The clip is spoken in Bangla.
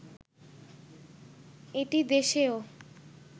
এটি দেশ ও